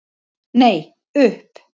Nei, upp.